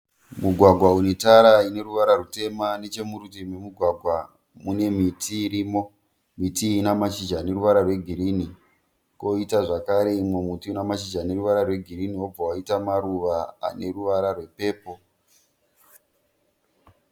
Mugwagwa une tara ine ruvara rutema, nechomurutivi memugwagwa mune miti irimo miti iyi ina mashizha ane ruvara rwegirini koita zvakare imwe muti ina mashizha ane ruvara rwegirini wobva waita maruva ane ruvara rwepepo.